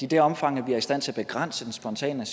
det omfang vi er i stand til at begrænse den spontane